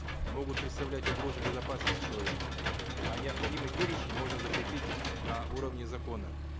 могут представлять угрозу безопасности человека а необходимый перечень можно закрепить на уровне закона